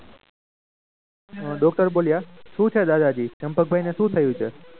doctor બોલ્યા શું છે દાદાજી ચંપકભાઈ ને શું થયું છે?